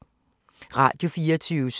Radio24syv